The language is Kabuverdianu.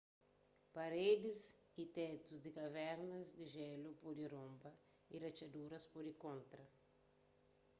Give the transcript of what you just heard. paredis y tétu di kavernas di jélu pode ronba y ratxadurs pode kontra